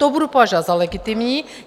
To budu považovat za legitimní.